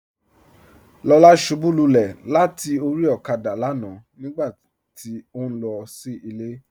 Lọla ṣúbú lúlẹ̀ látì orí òkádà lánà nígbàtí ó nlọ sí ilẹ̀.